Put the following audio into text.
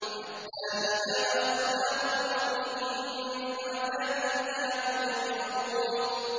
حَتَّىٰ إِذَا أَخَذْنَا مُتْرَفِيهِم بِالْعَذَابِ إِذَا هُمْ يَجْأَرُونَ